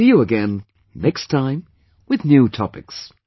See you again, next time, with new topics